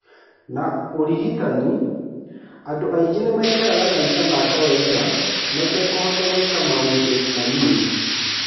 Na ũrigitani, andũ aingĩ nĩmaikaraga maica ma kawaida matekũhota gwĩka maũndũ manini.